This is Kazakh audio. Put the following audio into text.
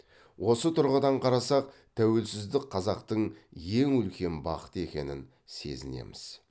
осы тұрғыдан қарасақ тәуелсіздік қазақтың ең үлкен бақыты екенін сезінеміз